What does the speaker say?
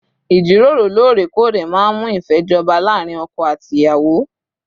Ìjíròrò lóòrèkóòrè máa ń mú ìfẹ́ jọba láàárín ọkọ àti ìyàwó